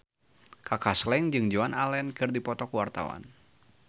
Kaka Slank jeung Joan Allen keur dipoto ku wartawan